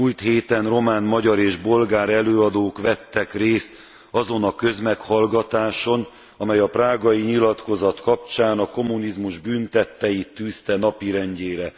A múlt héten román, magyar és bolgár előadók vettek részt azon a közmeghallgatáson, amely a prágai nyilatkozat kapcsán a kommunizmus bűntetteit tűzte napirendjére.